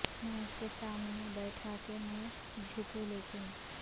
میں اس کے سامنے بیٹھا کہ میں جھکوں لیکن